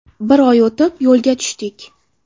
Bir oy o‘tib, yo‘lga tushdik.